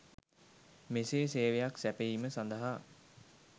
මෙසේ සේවයක් සැපයීම සඳහා